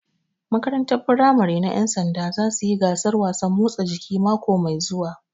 Makarantar firamare na ƴan sanda za suyi gasar wasan motsa jiki mako mai zuwa